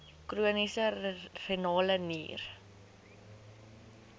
chroniese renale nier